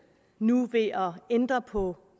nu ved at ændre på